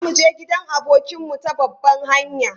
Za mu je gidan abokinmu ta babban hanya.